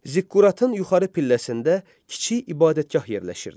Ziqquratın yuxarı pilləsində kiçik ibadətgah yerləşirdi.